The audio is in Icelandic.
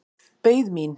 Beið mín.